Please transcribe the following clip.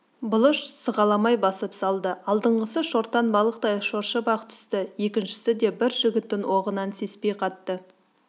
бұлыш сығаламай басып салды алдыңғысы шортан балықтай шоршып-ақ түсті екіншісі де бір жігіттің оғынан сеспей катты